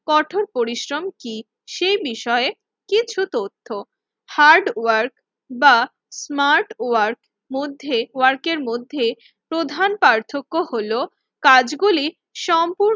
কঠোর পরিশ্রম কি সে বিষয়ে কিছু তথ্য, হার্ড ওয়ার্ক বা স্মার্ট ওয়ার্ক মধ্যে ওয়ার্কের মধ্যে প্রধান পার্থক্য হল কাজগুলি সম্পূ